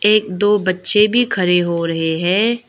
एक दो बच्चे भी खरे हो रहे हैं।